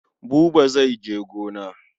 Buba zai je gona.